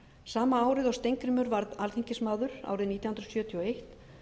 sama árið og steingrímur varð alþingismaður árið nítján hundruð sjötíu og eitt